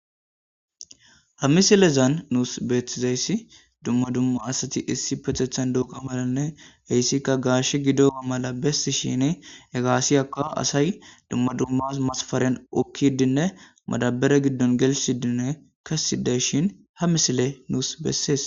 Ha misilezan nuus beetizayssi dumma dumma asati issipetethan dooga malanne heyssikka gaashe gidoba mala bessishini gaashiyakka asay dumma dumma masfaren oykiidinne madabere giddon gelsidinne kesidayshin ha misiley nuus besses.